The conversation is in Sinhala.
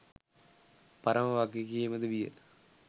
පරම වගකීම ද විය.